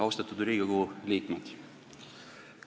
Austatud Riigikogu liikmed!